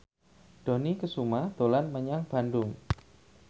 Dony Kesuma dolan menyang Bandung